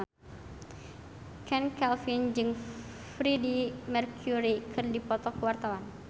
Chand Kelvin jeung Freedie Mercury keur dipoto ku wartawan